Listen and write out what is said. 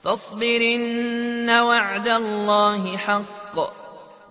فَاصْبِرْ إِنَّ وَعْدَ اللَّهِ حَقٌّ ۖ